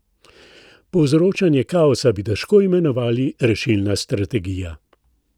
Povzročanje kaosa bi težko imenovali rešilna strategija.